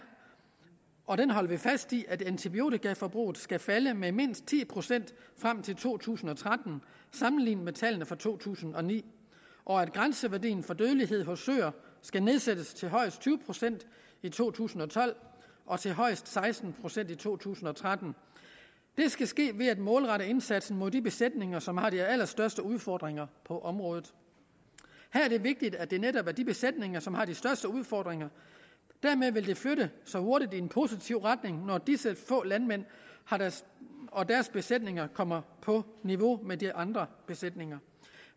og den holder vi fast i at antibiotikaforbruget skal falde med mindst ti procent frem til to tusind og tretten sammenlignet med tallene for to tusind og ni og at grænseværdien for dødelighed hos søer skal nedsættes til højst tyve procent i to tusind og tolv og til højst seksten procent i to tusind og tretten det skal ske ved at målrette indsatsen mod de besætninger som har de allerstørste udfordringer på området her er det vigtigt at det netop er de besætninger som har de største udfordringer dermed vil det flytte sig hurtigt i en positiv retning når disse få landmænd og deres og deres besætninger kommer på niveau med de andre besætninger